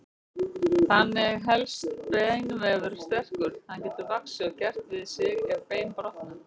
Þannig helst beinvefur sterkur, hann getur vaxið og gert við sig ef bein brotna.